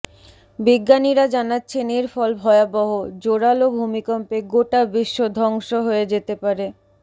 বিজ্ঞানীরা জানাচ্ছেন এর ফল ভয়াবহ জোরাল ভূমিকম্পে গোটা বিশ্ব ধ্বংস হয়ে যেতে পারে